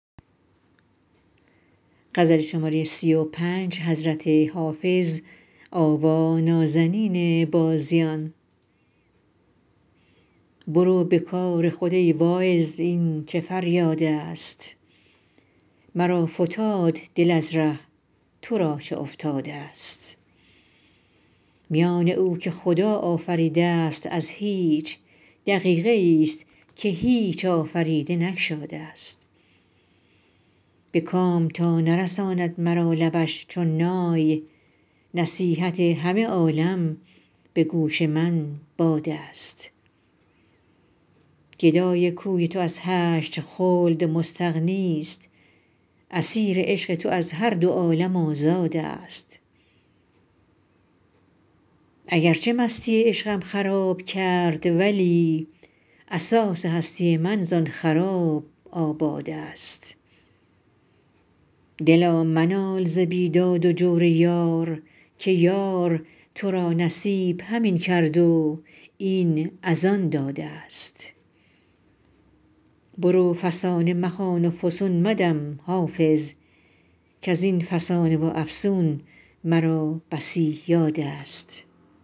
برو به کار خود ای واعظ این چه فریادست مرا فتاد دل از ره تو را چه افتادست میان او که خدا آفریده است از هیچ دقیقه ای ست که هیچ آفریده نگشادست به کام تا نرساند مرا لبش چون نای نصیحت همه عالم به گوش من بادست گدای کوی تو از هشت خلد مستغنی ست اسیر عشق تو از هر دو عالم آزادست اگر چه مستی عشقم خراب کرد ولی اساس هستی من زآن خراب آبادست دلا منال ز بیداد و جور یار که یار تو را نصیب همین کرد و این از آن دادست برو فسانه مخوان و فسون مدم حافظ کز این فسانه و افسون مرا بسی یادست